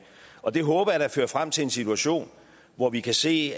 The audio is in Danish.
og det håber jeg da fører frem til en situation hvor vi kan se